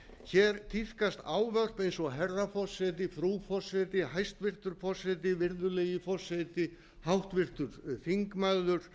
hér tíðkast ávarp eins og herra forseti frú forseti hæstvirtur forseti virðulegi forseti háttvirtur þingmaður